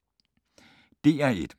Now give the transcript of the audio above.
DR1